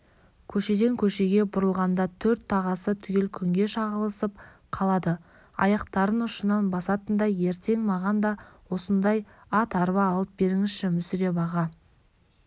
көшеден көшеге бұрылғанда төрт тағасы түгел күнге шағылысып қалады аяқтарын ұшынан басатындай ертең маған да осындай ат-арба алып беріңізші мүсіреп аға